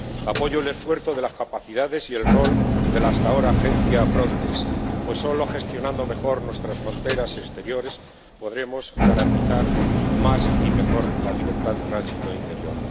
Apoyo el esfuerzo de las capacidades y el rol de la hasta ahora Agencia Frontex, pues solo gestionando mejor nuestras fronteras exteriores podremos garantizar más y mejor la libertad de tránsito interior.